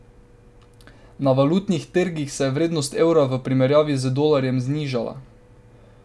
Na valutnih trgih se je vrednost evra v primerjavi z dolarjem znižala.